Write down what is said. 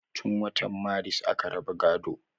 Tun wata maris aka raba gaado